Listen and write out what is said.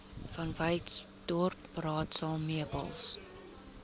vanwyksdorp raadsaal meubels